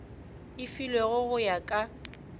e filwego go ya ka